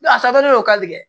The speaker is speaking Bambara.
a taabolo ka gɛlɛn